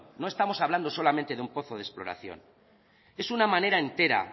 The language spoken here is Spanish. no estamos hablando solamente de un pozo de exploración es una manera entera